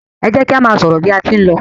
e jẹ ki a má sọrọ bi a tí n ló